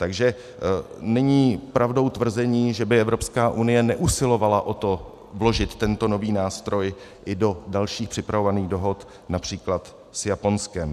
Takže není pravdou tvrzení, že by Evropská unie neusilovala o to vložit tento nový nástroj i do dalších připravovaných dohod, například s Japonskem.